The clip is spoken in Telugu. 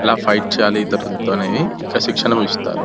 ఇలా ఫైట్ చేయాలి ఇతరులతో అనేది. ఇక్కడ శిక్షణ ఇస్తారు.